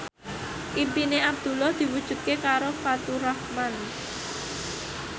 impine Abdullah diwujudke karo Faturrahman